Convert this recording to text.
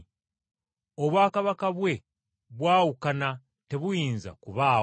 Obwakabaka bwe bwawukana tebuyinza kubaawo.